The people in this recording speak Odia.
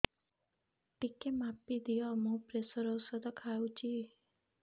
ଟିକେ ମାପିଦିଅ ମୁଁ ପ୍ରେସର ଔଷଧ ଖାଉଚି